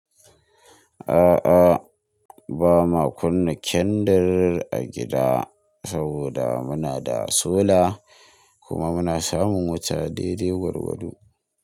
A'a, ba ma kunna kendir a gida saboda muna da solar kuma muna samun wuta daidai gwargwado.